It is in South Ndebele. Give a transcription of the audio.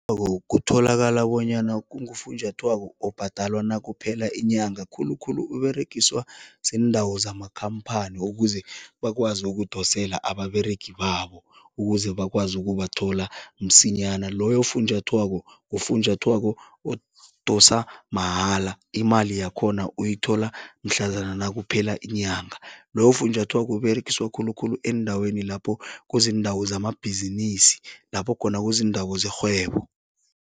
kutholakala bonyana kungufunjathwako obhadalwa nakuphela inyanga. Khulukhulu Uberegiswa ziindawo zamakhamphani ukuze bakwazi ukudosela ababeregi babo, ukuze bakwazi ukubathola msinyana. Loyo funjathwako ngufunjathwako odosa mahala, imali yakhona uyithola mhlazana nakuphela inyanga, loyo funjathwako Uberegiswa khulukhulu eendaweni lapho kuziindawo zamabhizinisi, lapho khona kuziindawo zerhwebo.